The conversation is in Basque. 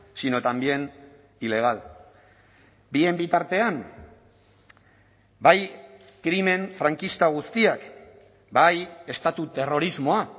sino también ilegal bien bitartean bai krimen frankista guztiak bai estatu terrorismoa